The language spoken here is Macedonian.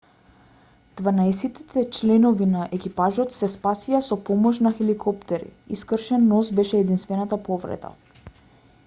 дванаесетте членови на екипажот се спасија со помош на хеликоптери и скршен нос беше единствената повреда